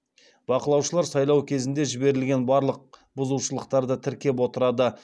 бақылаушылар сайлау кезінде жіберілген барлық бұзушылықтарды тіркеп отырады